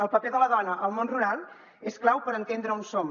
el paper de la dona al món rural és clau per entendre on som